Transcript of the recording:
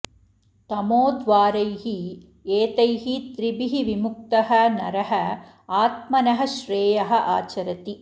तमोद्वारैः एतैः त्रिभिः विमुक्तः नरः आत्मनः श्रेयः आचरति